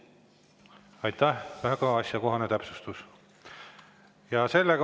Aitäh, väga asjakohane täpsustus!